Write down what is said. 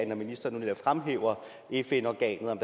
når ministeren nu fremhæver fn organet om